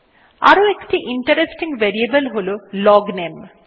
আরো একটি interesting variable হল লগনামে